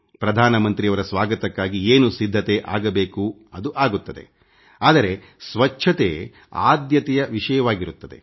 ಪ್ರಧಾನಮಂತ್ರಿಯವರ ಸ್ವಾಗತಕ್ಕಾಗಿ ಏನು ಸಿದ್ಧತೆ ಆಗಬೇಕು ಅದು ಆಗುತ್ತದೆ ಆದರೆ ಸ್ವಚ್ಛತೆ ಆದ್ಯತೆ ವಿಷಯವಾಗಿರುತ್ತದೆ